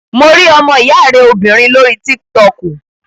Mo rí ọmọ ìyá rẹ obìnrin lórí tík-tọkù